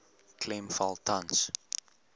klem val tans